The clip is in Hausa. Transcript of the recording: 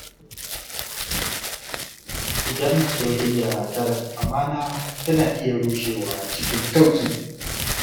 Idan soyayya ta rasa amana, tana iya rushewa cikin sauƙi.